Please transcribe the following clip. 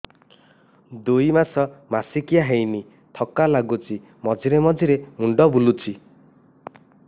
ଦୁଇ ମାସ ମାସିକିଆ ହେଇନି ଥକା ଲାଗୁଚି ମଝିରେ ମଝିରେ ମୁଣ୍ଡ ବୁଲୁଛି